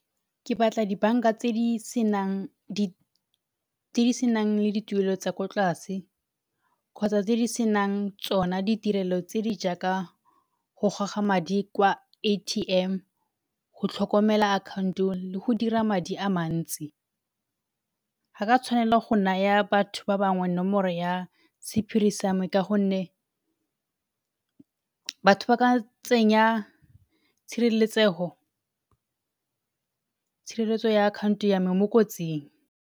Ke batla dibanka tse di senang tse di senang le dituelo tsa ko tlase kgotsa tse di senang tsona ditirelo tse di jaaka go goga madi kwa A_T_M, go tlhokomela akhaonto le go dira madi a mantsi. Ga ka tshwanela go naya batho ba bangwe nomoro ya sephiri sa me ka gonne batho ba ka tsenya tshireletsego, tshireletso ya akhaonto ya me mo kotsing.